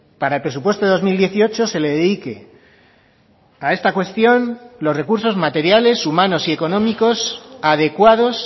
para el presupuesto de dos mil dieciocho se le dedique a esta cuestión los recursos materiales humanos y económicos adecuados